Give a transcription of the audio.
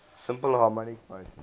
simple harmonic motion